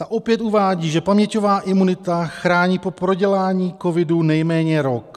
Ta opět uvádí, že paměťová imunita chrání po prodělání covidu nejméně rok.